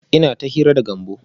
Ina ta hira da Gambo